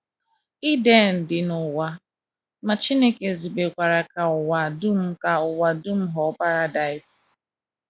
Iden dị n’ụwa, ma Chineke zubekwara ka ụwa dum ka ụwa dum ghọọ Paradaịs.